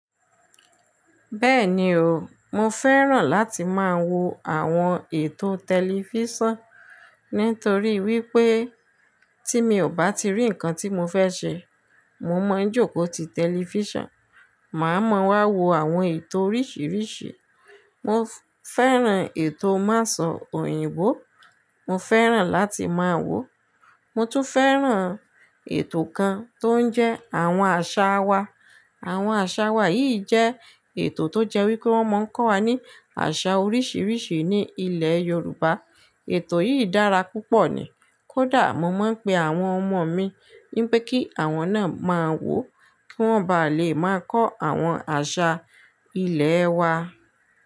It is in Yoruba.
Bẹ́ẹ̀ni o, mo fẹ́ràn láti máa wo àwọn ètò tẹlifísàn. Nítorí wípé tí mi ò bá ti rí ǹkan tí mo fẹ́ ṣe, mo máa ń jókòó ti tẹlifísàn, màá mọ wá wo àwọn ètò oríṣiríṣi. Mo fẹ́ràn ètò máṣo òyìnbó, mo fẹ́ràn láti máa wò ó. Mo tún fẹ́ràn ètò kan tó ń jẹ́ àwọn àṣà wa. Àwọn àṣà wa yìí jẹ́ ètò tó jẹ́ wípé wọ́n máa ń kọ́ wa ní àṣà oríṣiríṣi ní ilẹ̀ Yorùbá. Ètò yìí dára púpọ̀ ni, kódà mo máa ń pe àwọn ọmọ mi wípé kí àwọn náà máa wò ó kí wọ́n bá lè máa kọ́ àwọn àṣà ilèe wa.